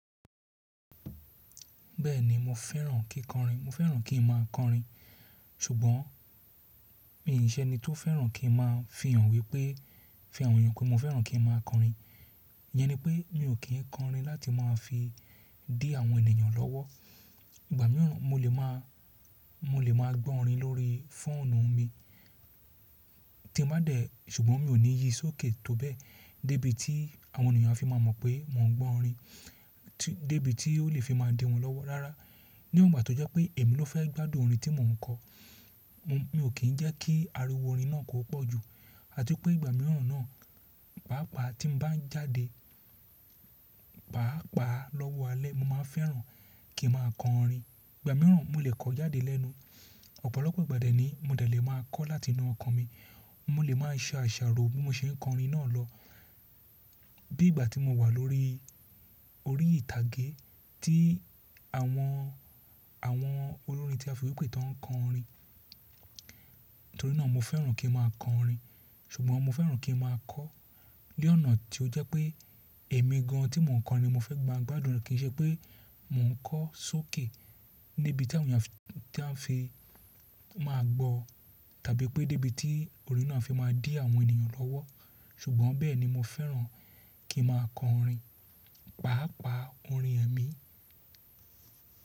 Bẹ́ẹ̀ni mo fẹ́ràn kí n kọrin, mo fẹ́ràn kí n má a kọrin. Ṣùgbọ́n mì í ṣe ẹni tó fẹ́ràn kí n má a fihàn wípé, fihàn wí pé mo fẹ́ràn kí n má a kọrin. Iyẹn ni pé mi ò kí ń kọrin láti máa fi dí àwọn ènìyàn lọ́wọ́. Ìgbà mìíràn mo lè má a, mo lè má a gbọ́ orin lórí fóònù mi tí mo bá dẹ̀, ṣùgbọ́n mi ò ní yí sókè tó bẹ́ẹ̀ dé bí tí àwọn ènìyàn á fi máa mọ̀ pé mò ń gbọ́ orin, tí, dé bí tí ó lè fi máa dé wọn lọ́wọ́. Rárá, níwòǹba tó jẹ́ pé èmi ló fẹ́ gbádùn orin tí mò ń kọ, mo, mi ò kí ń jẹ́ kí ariwo orin náà kó pọ̀ jù. Àti pé ìgbà mìíràn náà, pàápàá tí n bá jáde, pàápàá lọ́wọ́ alẹ́ mo má a fẹ́ràn kí n má a kọ orin. Ìgbà mìíràn mo lè kọ jáde lẹ́nu. Ọ̀pọ̀lọpọ̀ ìgbà dání mo dẹ̀ lè má a kọ láti inú ọkọ̀ mi. Mo lè má a ṣe àṣàrò bí mo ṣe ń kọ orin náà lọ. Bí ìgbà tí mo wà lórí orí ìtàgé tí àwọn, àwọn olórin tí a fi wí pé tàn ń kọ orin. Nítorí náà mo fẹ́ràn kí n má a kọ orin, ṣùgbọ́n mo fẹ́ràn kí n má a kọ ní ọ̀nà tí ó jẹ́ pé èmi gan an tí mò ń kọ ni mo fẹ́ mà gbádùn rẹ̀. Kì í ṣe pé mò ń kọ sókè níbi tí àwọn ènìyàn fi, tí à ń fi má a gbọ́, tàbí pé dé bí tí orin náà á fi má a dí àwọn ènìyàn lọ́wọ́. Ṣùgbọ́n bẹ́ẹ̀ ni mo fẹ́ràn kí n má a kọ orin, pàápàá orin ẹ̀mí.